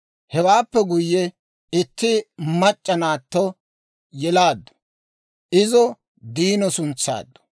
Hewaappe guyye itti mac'c'a naatto yelaaddu; izo Diino suntsaaddu.